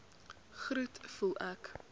groet voel ek